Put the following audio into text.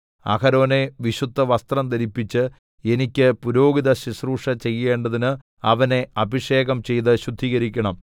അഹരോനെ വിശുദ്ധവസ്ത്രം ധരിപ്പിച്ച് എനിക്ക് പുരോഹിതശുശ്രൂഷ ചെയ്യേണ്ടതിന് അവനെ അഭിഷേകം ചെയ്ത് ശുദ്ധീകരിക്കണം